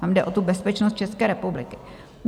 Tam jde o tu bezpečnost České republiky.